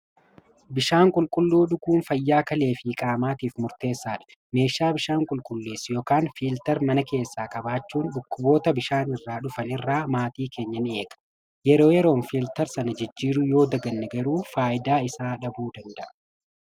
bishaan qulqulluu dhuguun fayyaa kalee fi qaamaatiif murteessaadha meeshaa bishaan qulqulleessu ykn fiiltar mana keessaa qabaachuun dhukkuboota bishaan irraa dhufan irraa maatii keenya ni eega yeroo yeroon filtar sana jijjiiru yoo daganne garuu faayidaa isaa dhabuu danda'a.